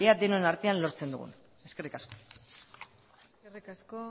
denon artean lortzen dugun eskerrik asko eskerrik asko